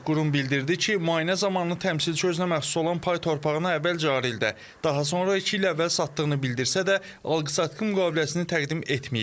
Qurum bildirdi ki, müayinə zamanı təmsilçi özünə məxsus olan pay torpağını əvvəl cari ildə, daha sonra iki il əvvəl satdığını bildirsə də, alqı-satqı müqaviləsini təqdim etməyib.